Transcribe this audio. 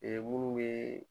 munnu ye